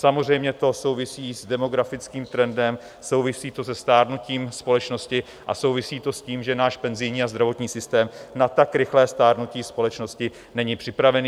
Samozřejmě to souvisí s demografickým trendem, souvisí to se stárnutím společnosti a souvisí to s tím, že náš penzijní a zdravotní systém na tak rychlé stárnutí společnosti není připravený.